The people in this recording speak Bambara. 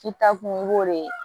K'i ta kun i b'o de